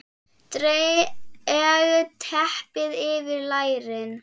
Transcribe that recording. Dreg teppið yfir lærin.